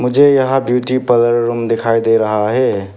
मुझे यहां beauty parlour room दिखाई दे रहा है।